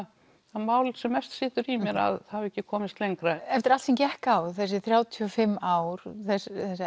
það mál sem mest situr í mér að hafi ekki komist lengra eftir allt sem gekk ár þessi þrjátíu og fimm ár þessar